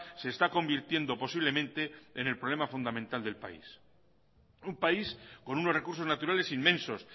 se está convirtiendo posiblemente en el problema fundamental del país un país con unos recursos naturales inmensos